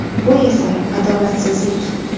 Bu esa adolatsizlik.